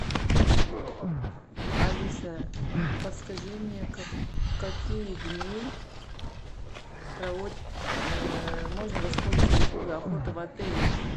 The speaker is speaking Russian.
алиса подскажи мне в какие дни можно воспользоваться услугой охота в отеле